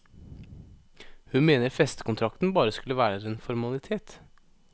Hun mener festekontrakten bare skulle være en formalitet.